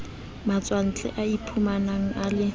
matswantle a iphumanang a le